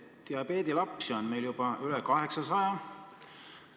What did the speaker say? Diabeedilapsi on meil juba üle 800.